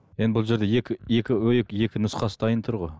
енді бұл жерде екі екі екі нұсқасы дайын тұр ғой